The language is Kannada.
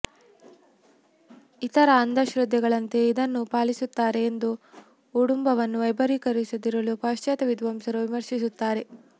ಇತರ ಅಂಧಶ್ರದ್ಧೆಗಳಂತೆ ಇದನ್ನೂ ಪಾಲಿಸುತ್ತಾರೆ ಎಂದೂ ಉಟೂಂಬುವನ್ನು ವೈಭವೀಕರಿಸದಿರಲು ಪಾಶ್ಚಾತ್ಯ ವಿದ್ವಾಂಸರು ವಿಮರ್ಶಿಸುತ್ತಾರೆ